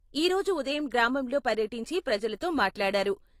ఈ రోజు ఉదయం గ్రామంలో పర్యటించి ప్రజలతో మాట్లాడారు.